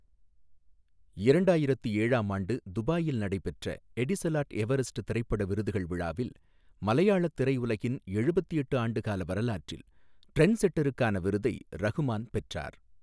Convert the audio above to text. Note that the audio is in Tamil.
இரண்டாயிரத்து ஏழாம் ஆண்டு துபாயில் நடைபெற்ற எடிசலாட் எவரெஸ்ட் திரைப்பட விருதுகள் விழாவில், மலையாளத் திரையுலகின் எழுபத்து எட்டு ஆண்டுக்கால வரலாற்றில், ட்ரெண்ட்செட்டருக்கான விருதை ரஹ்மான் பெற்றார்.